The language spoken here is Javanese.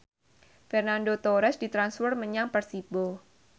Fernando Torres ditransfer menyang Persibo